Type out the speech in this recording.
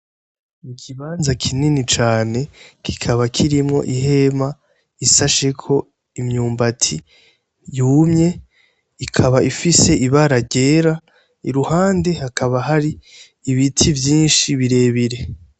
Ikibanza kinini cane kikaba kirimwo ihema isasheko imyumbati yumye, ikaba ifise ibara ryera, iruhande hakaba hari ibiti vyinshi birebire.